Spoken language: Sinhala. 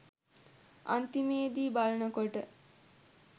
අන්තිමෙදි බලනකොට